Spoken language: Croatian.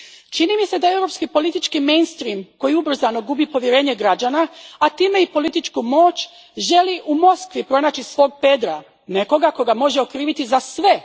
Čini mi se da europski politički mainstream koji ubrzano gubi povjerenje građana, a time i političku moć, želi u Moskvi pronaći svog Pedra, nekoga koga može kriviti za sve.